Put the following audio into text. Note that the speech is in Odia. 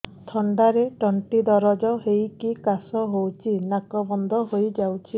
ଥଣ୍ଡାରେ ତଣ୍ଟି ଦରଜ ହେଇକି କାଶ ହଉଚି ନାକ ବନ୍ଦ ହୋଇଯାଉଛି